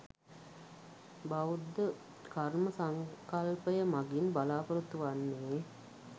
බෞද්ධ කර්ම සංකල්පය මගින් බලාපොරොත්තු වන්නේ